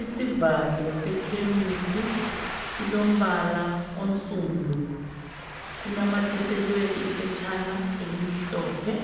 Isivalo sekhemisi silombala onsundu. Sinamathiselwe iphetshana elimhlophe.